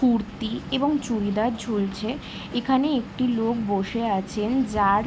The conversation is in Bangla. কুর্তি এবং চুড়িদার ঝুলছে । এখানে একটি লোক বসে আছেন যার।